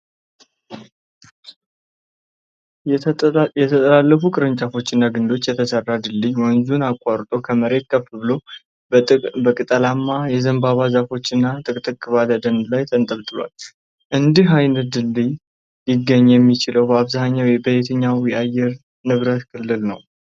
የተጠላለፉ ቅርንጫፎችና ግንድች የተሠራው ድልድይ ወንዙን አቋርጦ ከመሬት ከፍ ብሎ በቅጠላማ የዘንባባ ዛፎች እና ጥቅጥቅ ባለ ደን ላይ ተንጠልጥሏል። እንዲህ አይነቱ ድልድይ ሊገኝ የሚችለው በአብዛኛው በየትኞቹ የአየር ንብረት ክልሎች ነው?